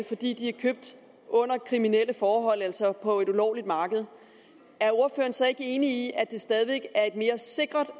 fordi de er købt under kriminelle forhold altså på et ulovligt marked er ordføreren så ikke enig i at det stadig væk er et mere sikkert